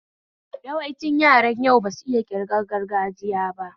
Yawancin yaran yau basu iya ƙirgan gargajiya ba